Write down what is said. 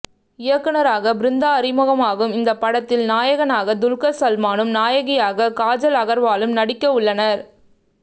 இயக்குனராக பிருந்தா அறிமுகமாகும் இந்த படத்தில் நாயகனாக துல்கர் சல்மானும் நாயகியாக காஜல் அகர்வாலும் நடிக்க உள்ளனர்